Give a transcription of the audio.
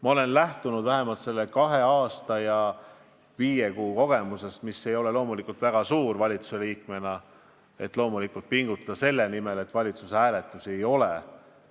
Ma olen valitsuse liikmena lähtunud selle kahe aasta ja viie kuu kogemusest, mis ei ole loomulikult väga suur, ja pingutanud selle nimel, et valitsuses hääletusi ei oleks.